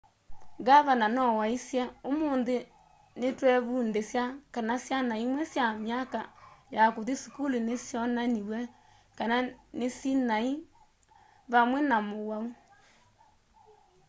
ngavana no waisye ũmũnthĩ nĩtwevundĩsya kana syana imwe sya myaka ya kũthi sukulu nĩsyonaniw'e kana nĩsinaĩ vamve na mũwau